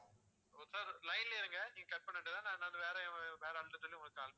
sir line லயே இருங்க நீங்க cut பண்ண வேண்டாம் நான் வேற வேற ஆள்கிட்ட சொல்லி உங்களுக்கு call